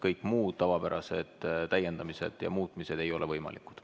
Kõik muud tavapärased täiendamised ja muutmised ei ole võimalikud.